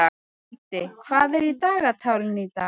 Kaldi, hvað er í dagatalinu í dag?